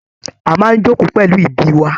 A máa n joko pẹlú ìdí wà.